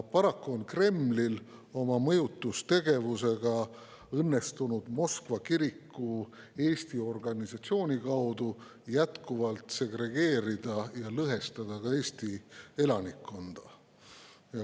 Paraku on Kremlil oma mõjutustegevusega õnnestunud Moskva kiriku Eesti organisatsiooni kaudu jätkuvalt segregeerida ja lõhestada Eesti elanikkonda.